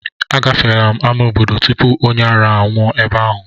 Agafeela m ámá obodo tupu onye ara anwụọ ebe ahụ.